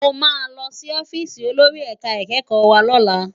Mó má lòsí òfìsí ólóri èká ikèkkò wá lòlá